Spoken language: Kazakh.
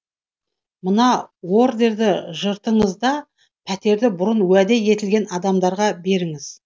мына ордерді жыртыңыз да пәтерді бұрын уәде етілген адамдарға беріңіз